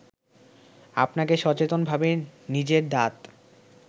আপনাকে সচেতনভাবে নিজের দাঁত